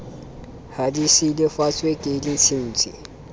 ha di silafatswe ke ditshintshi